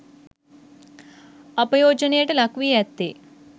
අපයෝජනයට ලක්වී ඇත්තේ